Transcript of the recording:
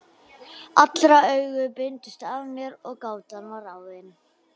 Allra augu beindust að mér og gátan var ráðin.